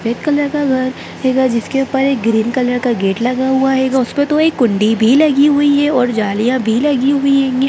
Red colour का घर हेगा जिसपे ऊपर एक ग्रीन कलर का गेट लगा हुआ हेगा उसपे तो एक कुण्डी भी लगी हुई है और जालिया भी लगी हुई हेंगी।